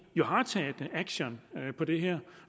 har taget action på det her